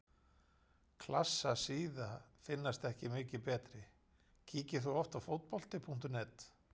Klassa síða finnast ekki mikið betri Kíkir þú oft á Fótbolti.net?